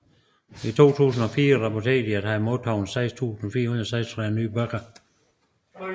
I 2004 rapporterede de at have modtaget 6436 nye bøger